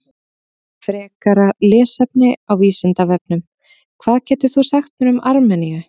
Frekara lesefni á Vísindavefnum: Hvað getur þú sagt mér um Armeníu?